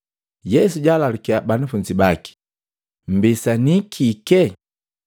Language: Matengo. Yesu jaalalukya banafunzi baki, “Mmbisanii kike?”